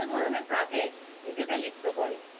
নিজেদের লিপ্ত করে,